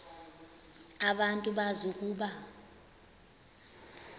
abantu bazi ukuba